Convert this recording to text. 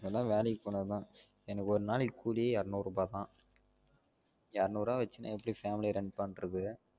மொதலா வேலைக்கு போனா தான் எனக்கு ஒரு நாளைக்கு கூலியே ஏறநூருபா தான் ஏறநூர்வா வெச்சின்னு எப்படி family அ run பண்றது?